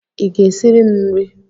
Ị ga-esiri m nri?